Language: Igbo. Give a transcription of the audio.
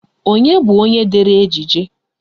Onye bụ onye dere ejije?